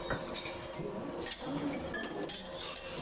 кино с анной михалковой